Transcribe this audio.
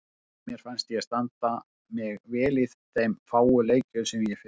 Mér fannst ég standa mig vel í þeim fáu leikjum sem ég fékk.